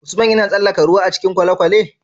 Usman yAna tsalaka ruwa a cikin kwale kwalen?